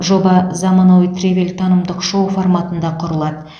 жоба заманауи тревел танымдық шоу форматында құрылады